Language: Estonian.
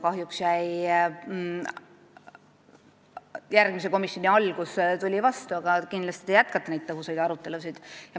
Kahjuks tuli järgmise komisjoni koosoleku algus vastu, aga kindlasti te jätkate neid tõhusaid arutelusid.